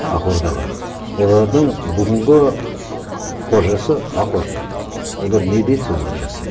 ақ ордаға олардың бүгінгі ы қожасы ақ орда олар не дейді соны жасайды